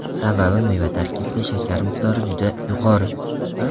Sababi meva tarkibida shakar miqdori juda yuqori.